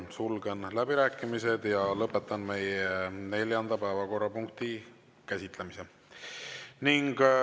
Sulgen läbirääkimised ja lõpetan meie neljanda päevakorrapunkti käsitlemise.